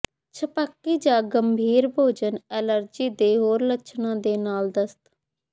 ਛਪਾਕੀ ਜਾਂ ਗੰਭੀਰ ਭੋਜਨ ਐਲਰਜੀ ਦੇ ਹੋਰ ਲੱਛਣਾਂ ਦੇ ਨਾਲ ਦਸਤ